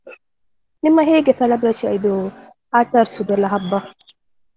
ನಿಮ್ಮದು ಹೇಗೆ celebration ಇದು. ಆಚರಿಸುದು ಎಲ್ಲಾ ಹಬ್ಬ?